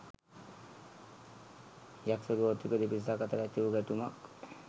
යක්ෂ ගෝත්‍රික දෙපිරිසක් අතර ඇතිවූ ගැටුමක්